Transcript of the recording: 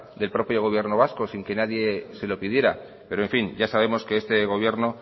del propio gobierno vasco sin que nadie se lo pidiera pero en fin ya sabemos que este gobierno